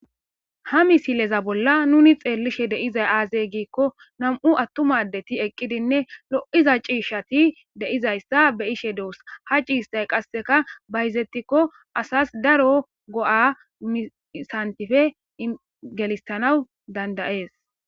ha misileza bolla nuni xeellishe deizay aazey giikko nam7u attumadeti eqqidinne lo7iza ciishshati deizayssa be ishe doos ha ciistay qasseka bayizetikko asas daro go7a misantife ingelistanawu dandayees